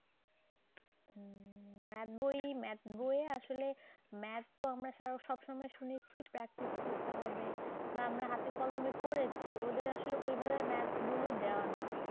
math বই math বই আসলে math তো আমরা সব সময় শুনেছি practice করতে হবে বা আমরা হাতে কলমে করেছি। ওদের আসলে ঐভাবে maths গুলো দেওয়া না।